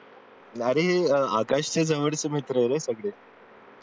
अरे आकाशच्या जवळचे मित्र आहे रे सगळे